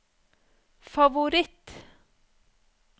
favoritt